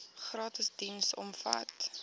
gratis diens omvat